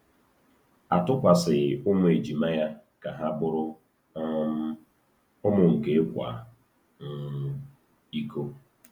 A tụkwasịghị ụmụ ejima ya ka ha bụrụ um ụmụ nke ịkwa um iko.